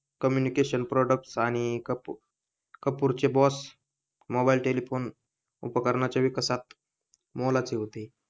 communication products आणि कपूरचे boss mobile telephone उपकरणाच्या विकासात मोलाचे होते